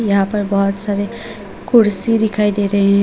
यहाँ पर बहोत सारे कुर्सी दिखाई दे रहे हैं।